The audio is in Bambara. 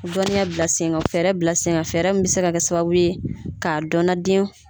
Dɔnniya bila sen kan fɛɛrɛ bila sen kan fɛɛrɛ min bɛ se ka kɛ sababu ye ka dɔn na den